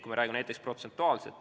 Räägime protsentuaalselt.